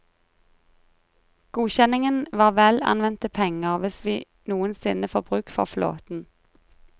Godkjenningen var vel anvendte penger hvis vi noen sinne får bruk for flåten.